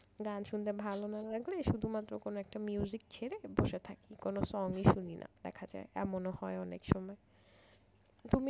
গান শুনতে ভালো না লাগলে শুধুমাত্র কোন একটা music ছেড়ে বসে থাকি কোনো song ই শুনি না দেখা যায় এমন হয় অনেক সময় তুমি